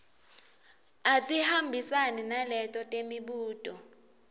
atihambisane naleto temibuto